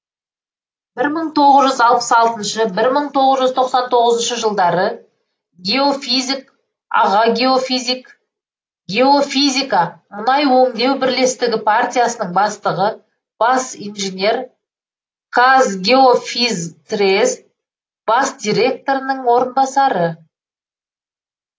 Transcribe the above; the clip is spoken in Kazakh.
бір мың тоғыз жүз алпыс алтыншы бір мың тоғыз жүз тоқсан тоғызыншы жылдары геофизик аға геофизик геофизика мұнай өңдеу бірлестігі партиясының бастығы бас инженер казгеофизтрест бас директорының орынбасары